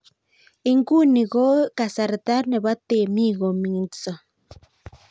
Huu ni wakati wa wakulima kupanda